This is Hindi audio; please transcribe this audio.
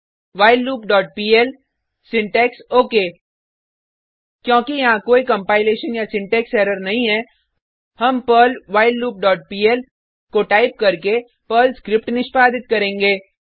whileloopपीएल सिंटैक्स ओक क्योंकि यहाँ कोई कंपाइलेशन या सिंटेक्स एरर नहीं है हम पर्ल व्हाइललूप डॉट पीएल को टाइप करके पर्ल स्क्रिप्ट निष्पादित करेंगे